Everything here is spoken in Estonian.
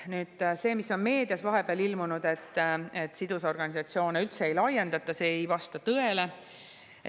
Meedias on vahepeal ilmunud, et sidusorganisatsiooni üldse ei laiendata – see ei vasta tõele.